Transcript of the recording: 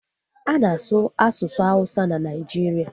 A na-asu asụsụ awụsa na Naijiria